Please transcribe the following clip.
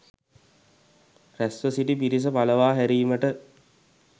රැස්වසිටි පිරිස පලවා හැරීමට